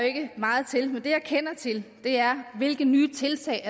ikke meget til men det jeg kender til er hvilke nye tiltag